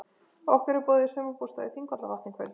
Okkur er boðið í sumarbústað við Þingvallavatn í kvöld.